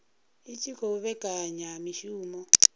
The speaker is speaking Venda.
i tshi khou vhekanya mishumo